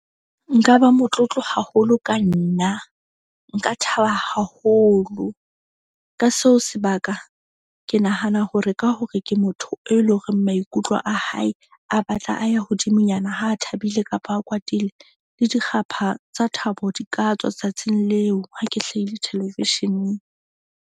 Nka ba motlotlo haholo ka nna, nka thaba haholo ka seo sebaka ke nahana hore ka hore ke motho e leng horeng maikutlo a hae a batla a ya hodimonyana ha a thabile kapa a kwatile. Le dikgapha tsa thabo di ka tswa tsatsing leo. Ha ke hlahile thelevisheneng.